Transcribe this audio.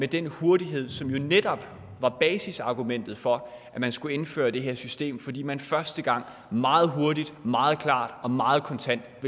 den hurtighed som jo netop var basisargumentet for at man skulle indføre det her system altså fordi man første gang sætte meget hurtigt meget klart og meget kontant